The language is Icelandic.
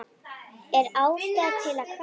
Er ástæða til að kvarta?